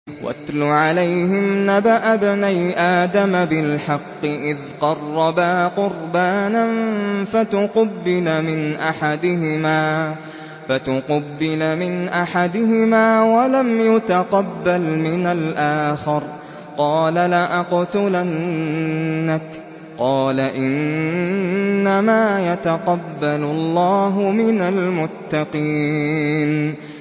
۞ وَاتْلُ عَلَيْهِمْ نَبَأَ ابْنَيْ آدَمَ بِالْحَقِّ إِذْ قَرَّبَا قُرْبَانًا فَتُقُبِّلَ مِنْ أَحَدِهِمَا وَلَمْ يُتَقَبَّلْ مِنَ الْآخَرِ قَالَ لَأَقْتُلَنَّكَ ۖ قَالَ إِنَّمَا يَتَقَبَّلُ اللَّهُ مِنَ الْمُتَّقِينَ